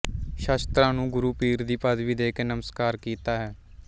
ਸ਼ਸਤ੍ਰਾਂ ਨੂੰ ਗੁਰੂ ਪੀਰ ਦੀ ਪਦਵੀ ਦੇ ਕੇ ਨਮਸਕਾਰ ਕੀਤਾ ਹੈ